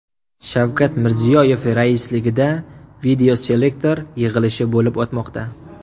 Shavkat Mirziyoyev raisligida videoselektor yig‘ilishi bo‘lib o‘tmoqda.